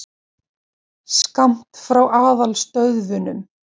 Skammt frá aðalstöðvunum.